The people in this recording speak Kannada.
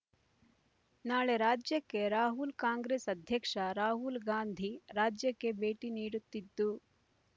ನಾಳೆ ರಾಜ್ಯಕ್ಕೆ ರಾಹುಲ್ ಕಾಂಗ್ರೆಸ್ ಅಧ್ಯಕ್ಷ ರಾಹುಲ್‌ಗಾಂಧಿ ರಾಜ್ಯಕ್ಕೆ ಭೇಟಿ ನೀಡುತ್ತಿದ್ದು